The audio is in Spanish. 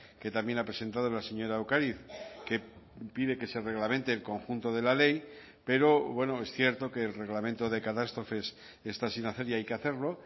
que también ha presentado la señora ocariz que pide que se reglamente el conjunto de la ley pero bueno es cierto que el reglamento de catástrofes está sin hacer y hay que hacerlo